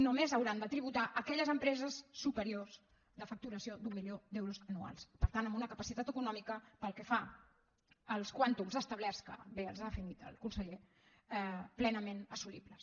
només hauran de tributar aquelles empreses superiors de facturació d’un milió d’euros anuals per tant amb una capacitat econòmica pel que fa als quàntums establerts que bé els ha definit el conseller plenament assolibles